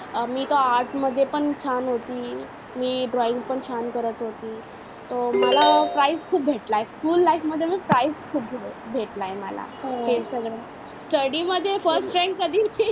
अं मी तर arts मध्ये पण छान होती. मी drawing पण छान करत होती. तर मला prize खूप भेटलाय school life मध्ये prize खूप भेटलाय मला. हे सगळं study मध्ये study mdhe first rank कधी